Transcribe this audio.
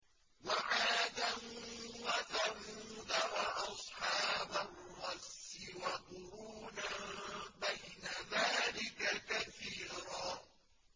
وَعَادًا وَثَمُودَ وَأَصْحَابَ الرَّسِّ وَقُرُونًا بَيْنَ ذَٰلِكَ كَثِيرًا